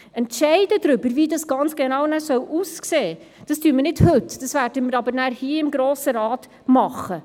Wie es danach genau aussehen soll, darüber entscheiden wir nicht heute, aber wir werden es hier im Grossen Rat tun.